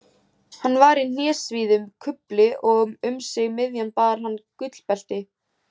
Hann var í hnésíðum kufli og um sig miðjan bar hann gullbelti.